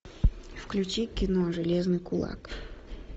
включи кино железный кулак